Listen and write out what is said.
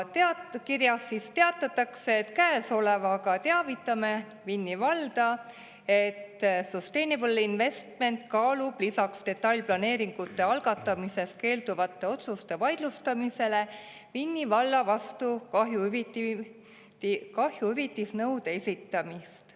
Kirjas teatatakse, et käesolevaga teavitatakse Vinni valda, et Sustainable Investments kaalub lisaks detailplaneeringute algatamisest keelduvate otsuste vaidlustamisele Vinni valla vastu kahjuhüvitisnõude esitamist.